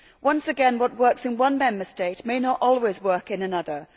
Once again, what works in one Member States may not always work in another.